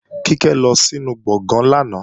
Kíkẹ́ lọ sínu gbọ̀gán lánàá